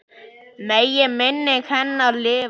Megi minning hennar lifa.